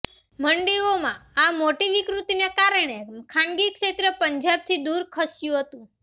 મંડીઓમાં આ મોટી વિકૃતિને કારણે ખાનગી ક્ષેત્ર પંજાબથી દૂર ખસ્યું હતું